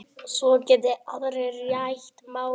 Svo geti aðrir rætt málin.